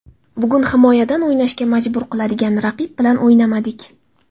Bugun himoyadan o‘ynashga majbur qiladigan raqib bilan o‘ynamadik.